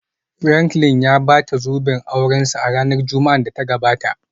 Franklin ya bata zoben aurensa a ranar Juma'ar da ta gabata